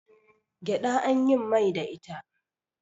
gyaɗa an yin Mai da ita